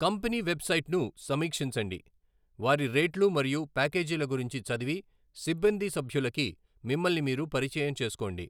Company వెబ్సైట్ను సమీక్షించండి, వారి రేట్లు మరియు ప్యాకేజీల గురించి చదివి, సిబ్బంది సభ్యులకి మిమ్మల్ని మీరు పరిచయం చేసుకోండి.